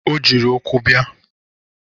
O jiri ụkwụ bịa.